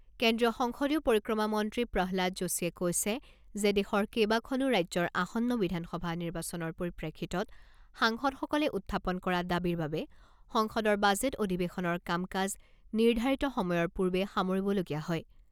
কেন্দ্ৰীয় সংসদীয় পৰিক্ৰমা মন্ত্ৰী প্ৰহ্লাদ যোশীয়ে কৈছে যে দেশৰ কেইবাখনো ৰাজ্যৰ আসন্ন বিধানসভা নিৰ্বাচনৰ পৰিপ্ৰেক্ষিতত সাংসদসকলে উত্থাপন কৰা দাবীৰ বাবে সংসদৰ বাজেট অধিৱেশনৰ কাম কাজ নিৰ্ধাৰিত সময়ৰ পূৰ্বে সামৰিবলগীয়া হয়।